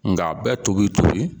Nka a bɛɛ tobi tobi